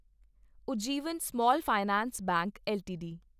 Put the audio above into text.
Ujjivan small finance bank LTD